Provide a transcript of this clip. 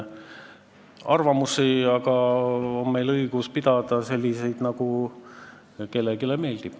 Meil on aga õigus sellistele arvamustele, nagu kellelegi meeldib.